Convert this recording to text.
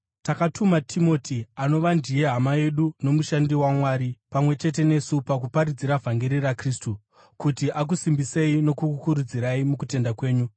Takatuma Timoti, anova ndiye hama yedu nomushandi waMwari pamwe chete nesu pakuparadzira vhangeri raKristu, kuti akusimbisei nokukukurudzirai mukutenda kwenyu,